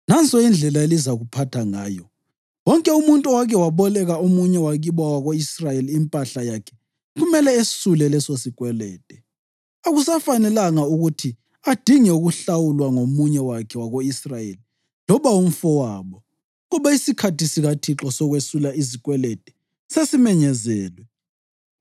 Nanso indlela elizakuphatha ngayo: Wonke umuntu owake waboleka omunye wakibo wako-Israyeli impahla yakhe kumele esule lesosikwelede. Akusafanelanga ukuthi adinge ukuhlawulwa ngomunye wakhe wako-Israyeli loba umfowabo, ngoba isikhathi sikaThixo sokwesula izikwelede sesimenyezelwe.